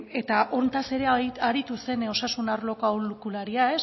eta honetaz ere aritu zen osasun arloko aholkularia